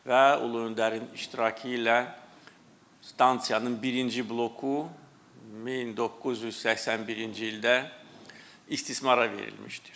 Və ulu öndərin iştirakı ilə stansiyanın birinci bloku 1981-ci ildə istismara verilmişdir.